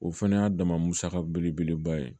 O fɛnɛ y'a dama musaka belebeleba ye